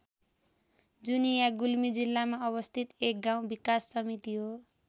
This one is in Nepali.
जुनिया गुल्मी जिल्लामा अवस्थित एक गाउँ विकास समिति हो।